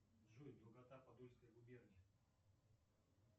джой долгота подольской губернии